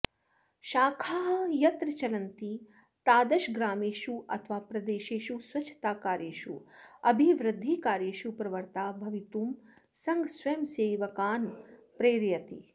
शाखाः यत्र चलन्ति ताद्शग्रामेषु अथवा प्रदेशेषु स्वच्छताकार्येषु अभिवृद्धिकार्येषु प्रवृत्ताः भवितुं सङ्घः स्वयंसेवकान् प्रेरयति